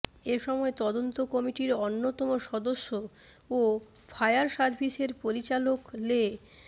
এ সময় তদন্ত কমিটির অন্যতম সদস্য ও ফায়ার সার্ভিসের পরিচালক লে